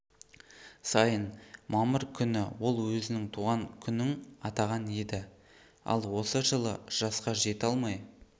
сайын мамыр күні ол өзінің туған күнің атаған еді ал осы жылы жасқа жете алмай